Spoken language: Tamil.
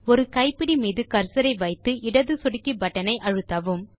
ஒரு கைப்பிடி மீது கர்சர் ஐ வைத்து இடது சொடுக்கி பட்டன் ஐ அழுத்தவும்